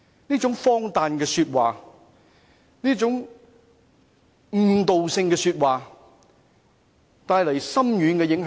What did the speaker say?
這種荒誕的說話，這種誤導人的言論對本港的教育帶來深遠影響。